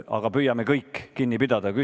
Aga püüame kõik ajast kinni pidada!